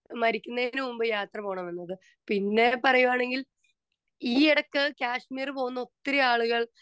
Speaker 2 മരിക്കുന്നതിന് മുമ്പ് യാത്ര പോകണം എന്നത്. പിന്നെ പറയുവാണെങ്കിൽ ഈയിടക്ക് കാശ്മീർ പോകുന്ന ഒത്തിരി ആളുകൾ